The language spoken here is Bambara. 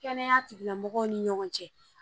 Kɛnɛya tigilamɔgɔw ni ɲɔgɔn cɛ